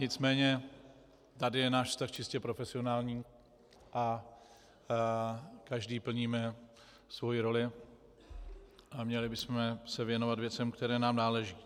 Nicméně tady je náš vztah čistě profesionální a každý plníme svoji roli a měli bychom se věnovat věcem, které nám náleží.